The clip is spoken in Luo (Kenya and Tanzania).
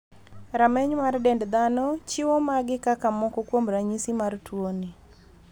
Rameny mar dend dhano chiwo magi kaka moko kuom ranyisi mar tuoni.